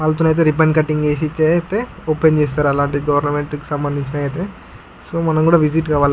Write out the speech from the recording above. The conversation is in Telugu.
వల్తో నైతే రిబ్బన్ కటింగ్ చేసి అయితే ఓపెన్ చేస్తారు. అలాంటివి గవర్నమెంట్ సంబందించినవి అయితే సో మనము కూడా విసిట్ కావాలా.